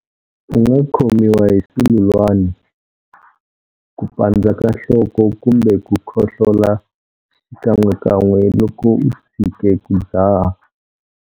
U nga khomiwa hi sululwani, ku pandza ka nhloko kumbe ku khohlola xikan'wekan'we loko u tshike ku dzaha.